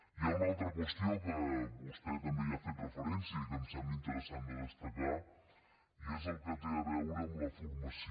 hi ha una altra qüestió que vostè també hi ha fet referència i que em sembla interessant de destacar i és el que té a veure amb la formació